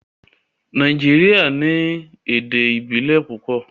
Nàìjíríà ní èdè ìbílè púpọ.